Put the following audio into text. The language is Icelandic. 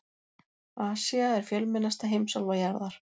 Asía er fjölmennasta heimsálfa jarðar.